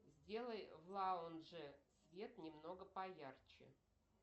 сделай в лаундже свет немного поярче